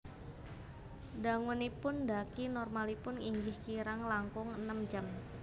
Dangunipun ndhaki normalipun inggih kirang langkung enem jam